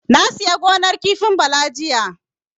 Na sayi gonar kifin Bala jiya.